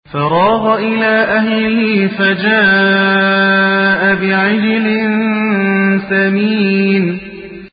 فَرَاغَ إِلَىٰ أَهْلِهِ فَجَاءَ بِعِجْلٍ سَمِينٍ